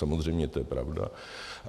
Samozřejmě to je pravda.